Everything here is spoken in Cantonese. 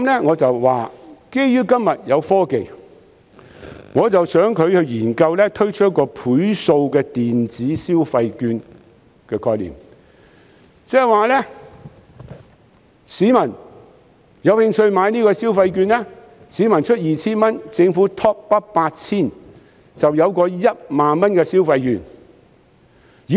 我說基於今天有科技，我想到一項建議，希望政府研究推出"倍數電子消費券"，意思是有興趣的市民可以購買消費券，市民支付 2,000 元，政府 top up 8,000 元，就有價值 10,000 元的消費券。